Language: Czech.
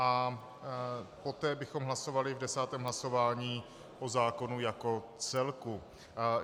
A poté bychom hlasovali v desátém hlasování o zákonu jako celku.